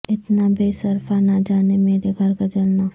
اتنا بے صرفہ نہ جائے میرے گھر کا جلنا